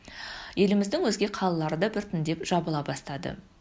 еліміздің өзге қалалары да біртіндеп жабыла бастады